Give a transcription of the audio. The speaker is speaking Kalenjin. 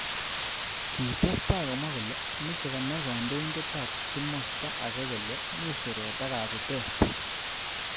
Kitestai komwa kole meche konai kandoindet ab kimosta ake kole mi siret ak kabutete.